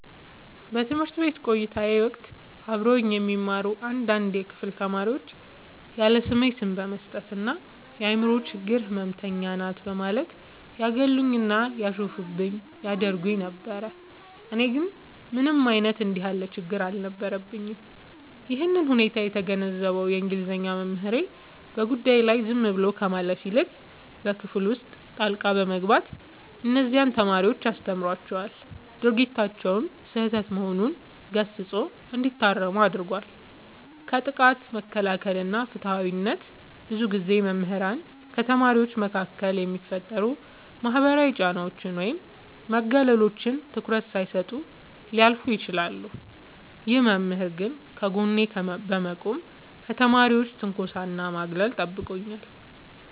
በትምህርት ቤት ቆይታዬ ወቅት አብረውኝ የሚማሩ አንዳንድ የክፍል ተማሪዎች ያለስሜ ስም በመስጠት እና "የአምሮ ችግር ህመምተኛ ናት" በማለት ያገሉኝና ያሾፉብኝ ያደርጉኝ ነበር። እኔ ግን ምንም አይነት እንዲህ ያለ ችግር አልነበረብኝም። ይህንን ሁኔታ የተገነዘበው የእንግሊዘኛ መምህሬ፣ በጉዳዩ ላይ ዝም ብሎ ከማለፍ ይልቅ በክፍል ውስጥ ጣልቃ በመግባት እነዚያን ተማሪዎች አስተምሯቸዋል፤ ድርጊታቸውም ስህተት መሆኑን ገስጾ እንዲታረሙ አድርጓል። ከጥቃት መከላከል እና ፍትሃዊነት፦ ብዙ ጊዜ መምህራን ከተማሪዎች መካከል የሚፈጠሩ ማህበራዊ ጫናዎችን ወይም መገለሎችን ትኩረት ሳይሰጡ ሊያልፉ ይችላሉ። ይህ መምህር ግን ከጎኔ በመቆም ከተማሪዎች ትንኮሳና ማግለል ጠብቆኛል።